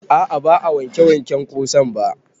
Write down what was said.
A'a ba a wanke waken ƙosan ba